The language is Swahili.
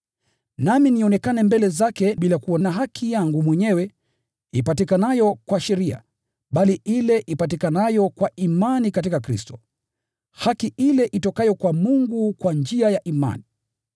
Nami nionekane mbele zake bila kuwa na haki yangu mwenyewe ipatikanayo kwa sheria, bali ile ipatikanayo kwa imani katika Kristo, haki ile itokayo kwa Mungu kwa njia ya imani.